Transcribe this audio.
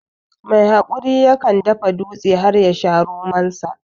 Mai haƙuri ya kan dafa dutse har ya sha romon sa